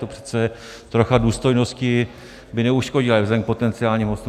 To přece trocha důstojnosti by neuškodila vzhledem k potenciálním hostům.